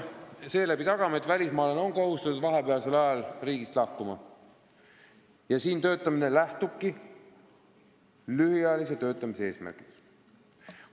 Seeläbi tagame, et välismaalane on kohustatud vahepeal riigist lahkuma ja siin töötamine lähtubki lühiajalise töötamise eesmärkidest.